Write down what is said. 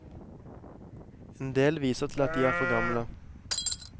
Endel viser til at de er for gamle.